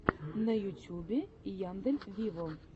на ютюбе яндель виво